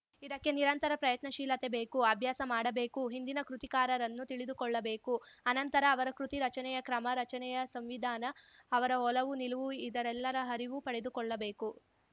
ಇದಕ್ಕೆ ನಿರಂತರ ಪ್ರಯತ್ನಶೀಲತೆ ಬೇಕು ಅಭ್ಯಾಸ ಮಾಡಬೇಕು ಹಿಂದಿನ ಕೃತಿಕಾರರನ್ನು ತಿಳಿದುಕೊಳ್ಳಬೇಕು ಅನಂತರ ಅವರ ಕೃತಿ ರಚನೆಯ ಕ್ರಮ ರಚನೆಯ ಸಂವಿಧಾನ ಅವರ ಒಲವುನಿಲುವು ಇದೆಲ್ಲದರ ಅರಿವು ಪಡೆದುಕೊಳ್ಳಬೇಕು